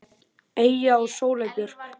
Eyja og Sóley Björk.